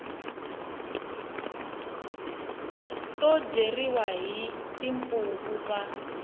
to dyeriwa hi timpfuvu va